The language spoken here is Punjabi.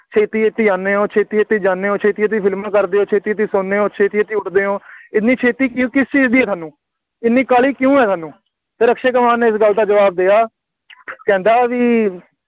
ਛੇਤੀ-ਛੇਤੀ ਆਉਂਦੇ ਹੋ, ਛੇਤੀ-ਛੇਤੀ ਜਾਂਦੇ ਹੋ, ਛੇਤੀ-ਛੇਤੀ ਫਿਲਮਾਂ ਕਰਦੇ ਹੋ, ਛੇਤੀ-ਛੇਤੀ ਸੌਂਦੇ ਹੋ, ਛੇਤੀ-ਛੇਤੀ ਉੱਠਦੇ ਹੋ, ਐਨੀ ਛੇਤੀ ਕੀ ਕਿਸ ਚੀਜ਼ ਹੈ ਤੁਹਾਨੂੰ, ਐਨੀ ਕਾਹਲੀ ਕਿਉਂ ਹੈ ਤੁਹਾਨੂੰ, ਫੇਰ ਅਕਸ਼ੇ ਕੁਮਾਰ ਨੇ ਇਸ ਗੱਲ ਦਾ ਜਵਾਬ ਦਿੱਤਾ ਕਹਿੰਦਾ ਬਈ